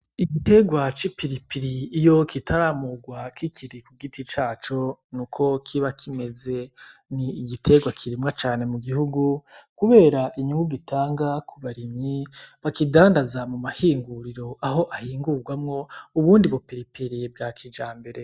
Igitegwa c'ipiripiri iyo kitaramugwa kikiri kugiti caco niko kiba kimeze, n' igitegwa kirimwa cane mugihugu kubera inyungu gitanga kubarimyi bakidandaza mumahinguriro aho ahingugwamwo ubundi bu piripiri bwa kijambere.